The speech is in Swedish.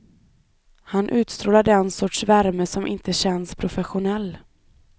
Han utstrålar den sorts värme som inte känns professionell.